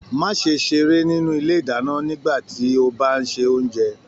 Má ṣe seré nínú ilé ìdáná nígbàtí o bá n ṣe oúnjẹ.